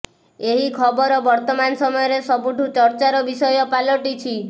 ଏହି ଖବର ବର୍ତ୍ତମାନ ସମୟରେ ସବୁଠୁଁ ଚର୍ଚ୍ଚାର ବିଷୟ ପାଲଟିଛି